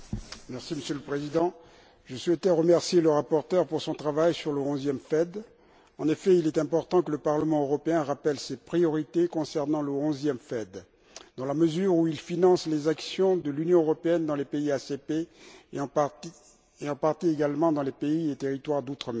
Monsieur le Président, je souhaiterais remercier le rapporteur pour son travail sur le 11e Fonds européen de développement. En effet, il est important que le Parlement européen rappelle ses priorités concernant le 11e FED, dans la mesure où il finance les actions de l'Union européenne dans les pays ACP et, en partie également, dans les pays et territoires d'outre mer.